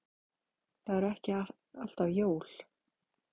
Það eru ekki alltaf jólin.